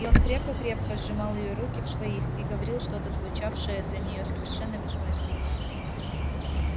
и он крепко-крепко сжимал её руки в своих и говорил что-то звучавшее для неё совершенно бессмысленно